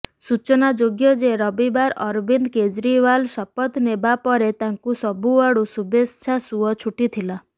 ସୂଚନା ଯୋଗ୍ୟ ଯେ ରବିବାର ଅରବିନ୍ଦ କେଜ୍ରିୱାଲ ଶପଥ ନେବା ପରେ ତାଙ୍କୁ ସବୁଆଡୁ ଶୁଭେଚ୍ଛା ସୁଅ ଛୁଟିଥିଲା